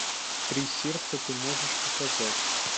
три сердца ты можешь показать